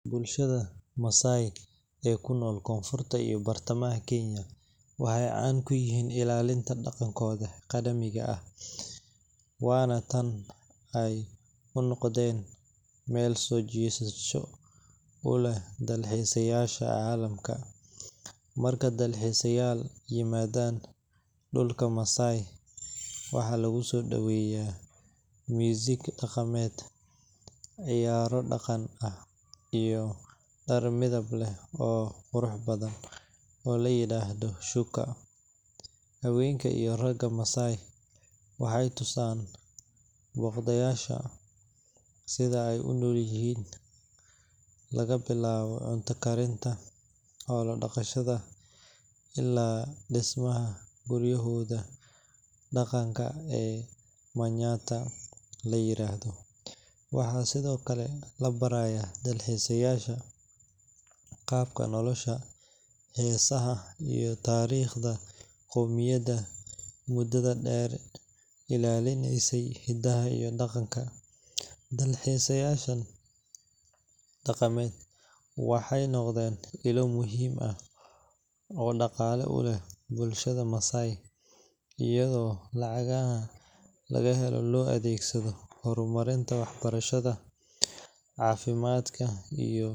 Bulshada Maasai ee ku nool Koonfurta iyo Bartamaha Kenya waxay caan ku yihiin ilaalinta dhaqankooda qadiimiga ah, waana tan ay u noqdeen meel soo jiidasho u leh dalxiisayaasha caalamka. Marka dalxiisayaal yimaadaan dhulka Maasai, waxaa lagu soo dhoweeyaa muusig dhaqameed, ciyaaro dhaqan ah, iyo dhar midab leh oo qurux badan oo la yiraahdo shuka. Haweenka iyo ragga Maasai waxay tusaan booqdayaasha sida ay u noolyihiin – laga bilaabo cunto karinta, xoolo dhaqashada, ilaa dhismaha guryahooda dhaqanka ee manyatta la yiraahdo. Waxaa sidoo kale la barayaa dalxiisayaasha qaabka nolosha, heesaha, iyo taariikhda qowmiyaddan mudada dheer ilaalinaysay hiddaha iyo dhaqanka. Dalxiisyadan dhaqameed waxay noqdeen ilo muhiim ah oo dhaqaale u ah bulshada Maasai, iyadoo lacagaha laga helo loo adeegsado horumarinta waxbarashada, caafimaadka, iyo.